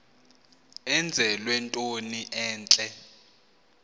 enzelwe into entle